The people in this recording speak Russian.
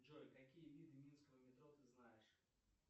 джой какие виды минского метро ты знаешь